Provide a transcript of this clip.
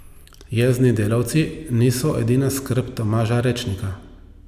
Jezni delavci niso edina skrb Tomaža Ročnika.